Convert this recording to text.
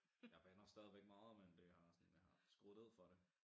Jeg bander stadigvæk meget men det har sådan jeg har skruet ned for det